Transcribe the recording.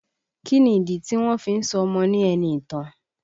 Kí ni ìdí tí wọ́n fí ń sọ ọmọ ní Ẹniìtàn?